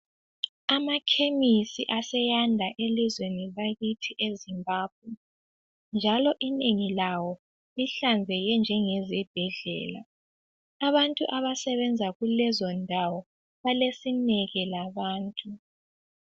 Amakhemisi aseyanda elizweni lakithi eZimbabwe njalo inengi lawo lihlanzeke njenge ezibhedlela , abantu abasebenza kulezondawo balesineke labantu.